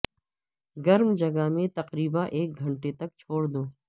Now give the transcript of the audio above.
گرم جگہ میں تقریبا ایک گھنٹہ تک چھوڑ دو